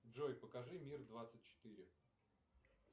джой покажи мир двадцать четыре